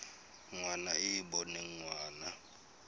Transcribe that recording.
ngwana e e boneng ngwana